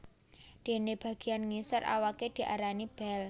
Dene bageyan ngisor awaké diarani bel